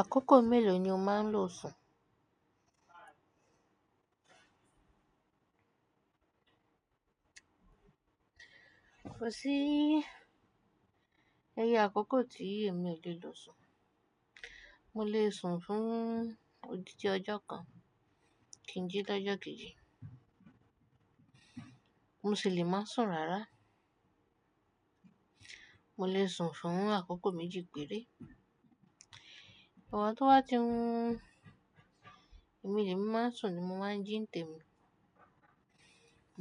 Àkókò mélòó ni o máa ń lo sùn? Ko sí iye àkókò tí èmi ò le lò sùn. Mo lè sùn fún òdídi ọjọ́ kan, kìnjí lọ'ọjọ́ kejì. Mosi lè má sùn rárá. Mo lè sùn fún àkókò méjì péré. Igba tó bá ti wù, èmi lè máa ń sùn ni mo máa ń jí ǹ tèmi.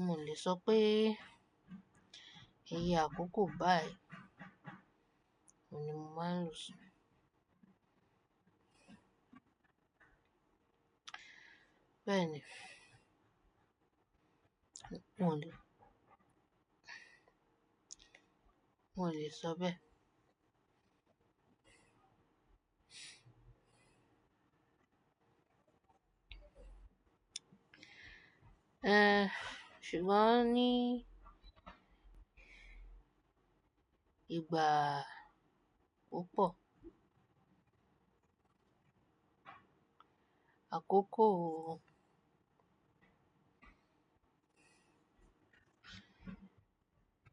Mo o lè sọ pé iye àkókò báyìí ni mo máa ń lo sùn. Bẹ́ẹ̀ni Mo o lè, mo lè sọ bẹẹ, eh, ṣùgbọ́n ní ìgbà opọ̀. Àkókò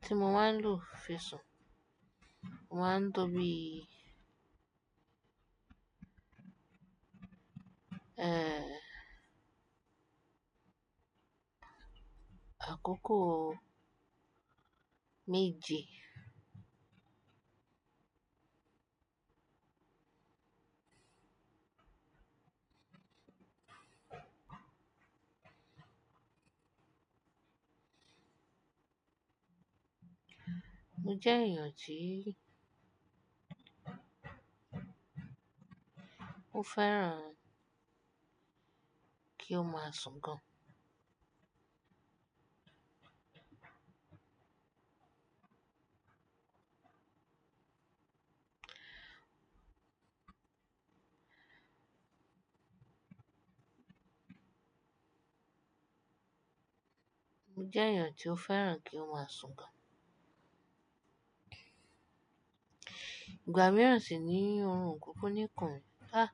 tí mo máa ń lo fisùn, o máa ń tóbi eh, àkókò méje. Mo jẹ́ èèyàn tí ó fẹ́ràn kí ó máa sùn gan. Mo jẹ́ èèyàn tí ó fẹ́ràn kí ó máa sùn gan. Ìgbà mìíràn sì ní oorun o kúkú ní kùn mi. Ah,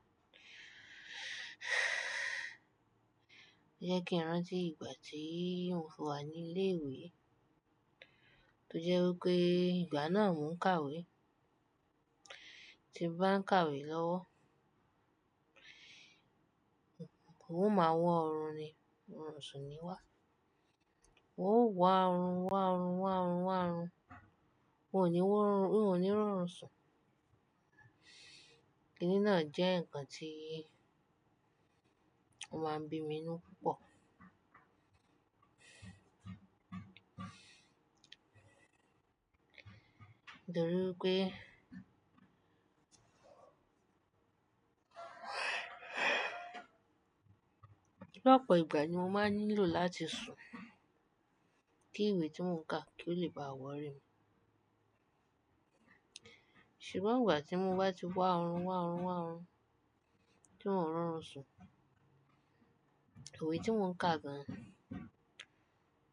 ẹ jẹ́ kí n ran tí ìgbà tí mofi wà ní ilé ìwé. Tí ó jẹ́ wí pé ìgbà náà mò ń kàwé. Tí mo bá ń kàwé lọ́wọ́, ún o máa wọ̀ órun ni, òrun ò sì níwà. Ún o wá órun, wá órun, wá órun, wá órun. Ó ní wó o rùn, ó ní rórùn sùn. Kíni náà jẹ́ ǹkan tí ó máa ń bí mi inú púpọ̀. Torí wípé lọ́pọ̀ ìgbà ni mo máa ń nílò láti sùn. Kí ìwé tí mò ń kà, kí ó lè bá wọ̀rí mi. Ṣùgbọ́n ìgbà tí mo bá ti wá órun, wá órun, wá órun, tí ùn ò rórùn sùn, ìwé tí mò ń kà gan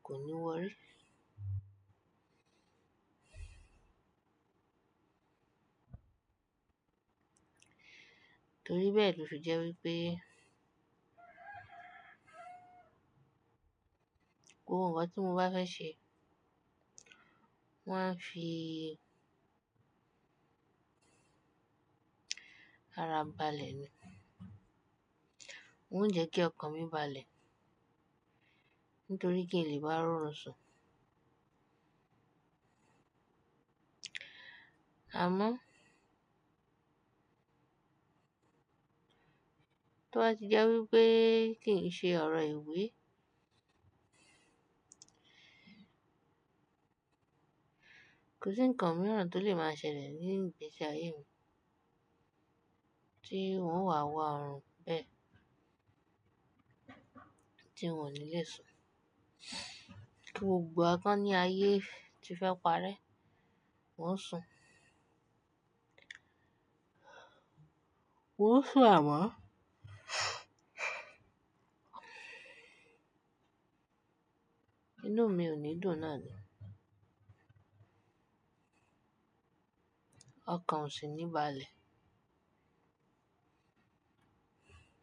kò ní wọ̀rí. Torí bẹ́ẹ̀ lò fì jẹ́ wí pé Gbogbo nnkan tí mo bá fẹ́ ṣe, mo máa ń fi ara bàlẹ̀ ni. Ó ń jẹ́ kí ọkàn mi bàlẹ̀ nítorí kin lé bá rórùn sùn. Àmọ́ tó bá ti jẹ́ wí pé kíi n ṣe ọ̀rọ̀ ìwé, kò sí ǹkan mìíràn tó lè máa ṣẹlẹ̀ ní ìgbésí ayé mi tí ùn ò wà wá órún bẹ́ẹ̀ tí un ò ní lè sùn. Kí gbogbo wa kàn ní ayé ti fẹ́ parẹ́, un o sùn. Un ò sùn, àmọ́ inú mi ò ní dùn náà ni. Ọkàn ò sì ní bàlẹ̀.